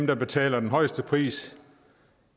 der betaler den højeste pris